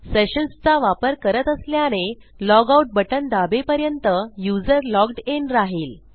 sessionsचा वापर करत असल्याने logoutबटण दाबेपर्यंत युजर logged इन राहिल